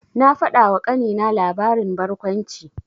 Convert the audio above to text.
Na faɗawa ƙanina labarin barkwanci.